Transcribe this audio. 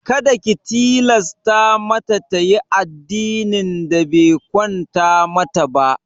Kada ki tilasta mata tayi addinin da be kwanta mata ba!